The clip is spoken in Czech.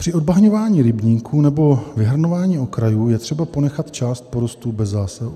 Při odbahňování rybníků nebo vyhrnování okrajů je třeba ponechat část porostů bez zásahu.